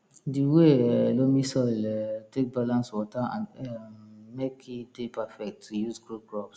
di way um loamy soil um take balance water and air um make e dey perfect to use grow crops